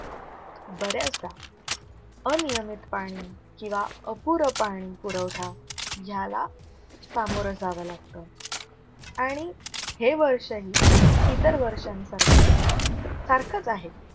बऱ्याचदा अनियमित पाणी किंव्हा अपुर पाणी पुरवठा ह्याला सामोर जाव लागत आणि हे वर्ष ही इतर वर्षांसारखं सारखंच आहे.